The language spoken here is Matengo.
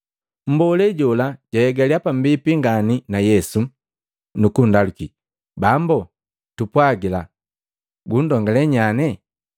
Mbolee jola jwahegalia pambipi ngani na Yesu, nukunndaluki, “Bambu, tupwagila gundongale nyane?”